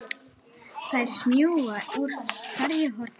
Þær smjúga úr hverju horni.